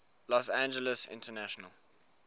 los angeles international